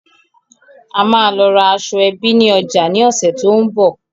A máa lọ ra aṣọẹbí ni ọjà ni ọ̀sẹ̀ tòun bọ̀.